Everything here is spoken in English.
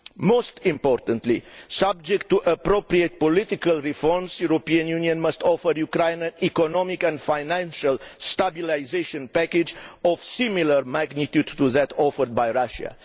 Most importantly, subject to appropriate political reforms, the European Union must offer the Ukraine an economic and financial stabilisation package of similar magnitude to that offered by Russia.